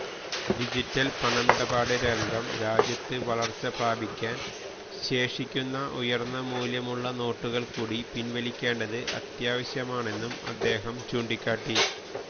digital പണമിടപാട് രംഗം രാജ്യത്ത് വളര്ച്ച പ്രാപിക്കാന് ശേഷിക്കുന്ന ഉയര്ന്ന മൂല്യമുള്ള നോട്ടുകള് കൂടി പിന്വലിക്കേണ്ടത് അത്യാവശ്യമാണെന്നും അദ്ദേഹം ചൂണ്ടിക്കാട്ടി